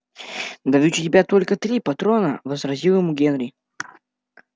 да ведь у тебя только три патрона возразил ему генри